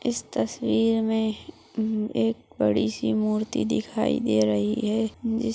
इस तस्वीर में उम्म एक बड़ी सी मूर्ति दिखाई दे रही है। जिस --